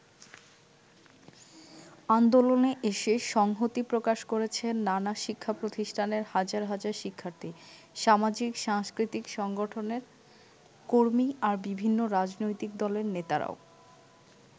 আন্দোলনে এসে সংহতি প্রকাশ করেছেন নানা শিক্ষাপ্রতিষ্ঠানের হাজার হাজার শিক্ষার্থী, সামাজিক-সাংস্কৃতিক সংগঠনের কর্মী, আর বিভিন্ন রাজনৈতিক দলের নেতারাও।